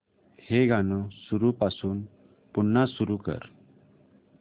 हे गाणं सुरूपासून पुन्हा सुरू कर